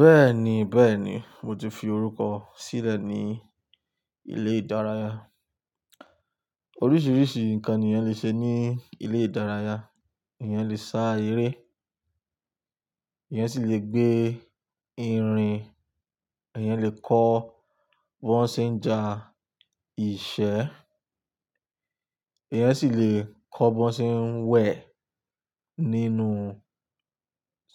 Bẹ́ẹ̀ni bẹ́ẹ̀ni mo ti fi orúkọ sílẹ̀ ní ilé ìdárayá. Oríṣiríṣi nǹkan èèyàn lè ṣe ní ilé ìdárayá. Ẹ̀yàn lè sá eré, ẹ̀yàn sì lè gbé irin, ẹ̀yàn lè kọ́ bọ́nṣẹ̀ńjà ìṣe, ẹ̀yàn sì lè kọ́ bọ́nṣẹ̀ ń wẹ̀ nínú